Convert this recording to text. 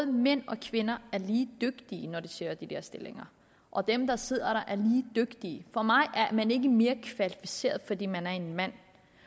mænd og kvinder er lige dygtige når de søger de der stillinger og at dem der sidder der er lige dygtige for mig at er man ikke mere kvalificeret fordi man er en mand